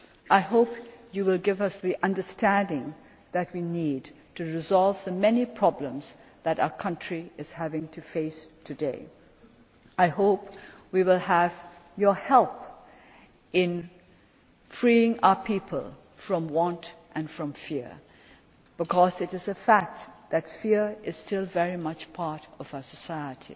people. I hope you will give us the understanding that we need to resolve the many problems that our country is having to face today. I hope we will have your help in freeing our people from want and fear, because it is a fact that fear is still very much part of our